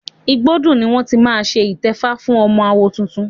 Igbódù ni wọ́n ti máa ṣe ìtẹ́fá fún ọmọ àwo tuntun.